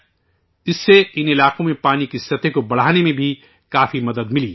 اس سے ان علاقوں میں پانی کی سطح کو بڑھانے میں بھی کافی مدد ملی ہے